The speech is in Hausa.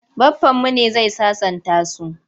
Baffanmu ne zai sasanta su.